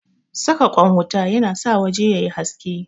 Saka ƙwan wuta yana sa waje yayi haske